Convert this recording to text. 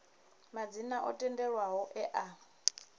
madzina o tendelwaho e a